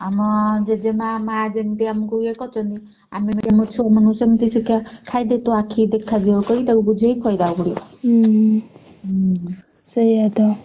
ସେୟା ତ।